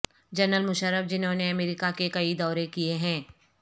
general Musharraf جنہوں نے امریکہ کے کئی دورے کیے ہیں